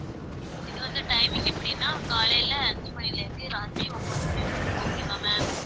இது வந்து timing எப்படின்னா காலையிலே அஞ்சு மணியிலே இருந்து ராத்திரி ஒன்பது மணி வரைக்கும் okay வா ma'am